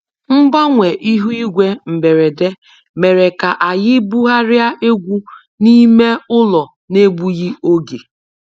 Mgbanwe ihu igwe mberede mere ka anyị bugharịa egwu n'ime ụlọ n'egbughị oge